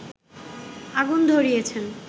আগুন ধরিয়েছেন